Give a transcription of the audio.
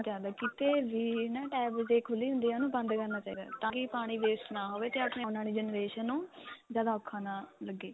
ਜਾਂਦਾ ਕਿਤੇ ਵੀ ਨਾ tap ਜੇ ਖੁੱਲੀ ਹੁੰਦੀ ਏ ਉਹਨੂੰ ਬੰਦ ਕਰਨਾ ਚਾਹੀਦਾ ਤਾਂ ਕਿ ਪਾਣੀ waste ਨਾ ਹੋਵੇ ਤੇ ਆਪਣੀ ਆਉਣ ਵਾਲੀ generation ਨੂੰ ਜਿਆਦਾ ਔਖਾ ਨਾ ਲੱਗੇ